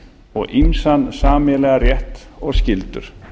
og ýmsan sameiginlegan rétt og skyldur